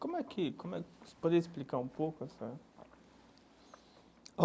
Como é que... Como é que você pode explicar um pouco essa?